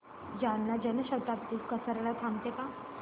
जालना जन शताब्दी कसार्याला थांबते का